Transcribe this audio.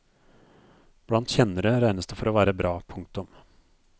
Blant kjennere regnes det for å være bra. punktum